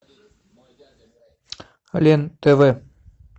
лен тв